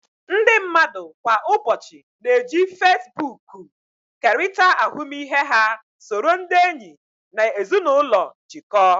Ndị mmadụ kwa ụbọchị na-eji Facebook kerịta ahụmịhe ha, soro ndị enyi na ezinụlọ jikọọ